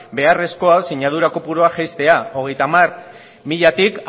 beharrezko sinadura kopurua jaistea hogeita hamar milatik